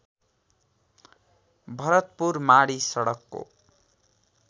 भरतपुर माडी सडकको